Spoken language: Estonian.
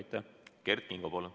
Kert Kingo, palun!